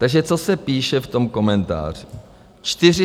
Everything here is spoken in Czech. Takže co se píše v tom komentáři?